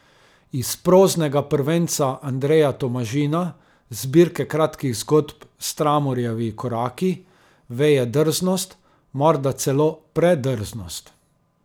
Iz proznega prvenca Andreja Tomažina, zbirke kratkih zgodb Stramorjevi koraki, veje drznost, morda celo predrznost.